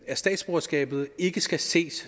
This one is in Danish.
at statsborgerskabet ikke skal ses